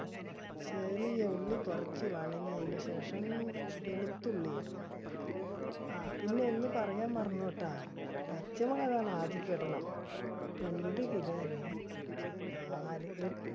ചെറിയ ഉള്ളി കുറച്ച് ശേഷം, വെളുത്തുള്ളി ഇടണം. ആ പിന്നെ ഒന്ന് പറയാൻ മറന്നുപോയിട്ട, പച്ചമുളക് ആണ് . രണ്ട് kilo ന് നാല്